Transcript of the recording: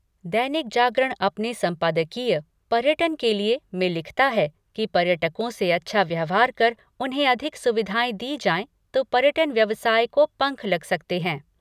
दैनिक जागरण अपने सम्पादकीय 'पर्यटन के लिए' में लिखता है कि पर्यटकों से अच्छा व्यवहार कर उन्हें अधिक सुविधाएं दी जाए तो पर्यटन व्यवसाय को पंख लग सकते हैं।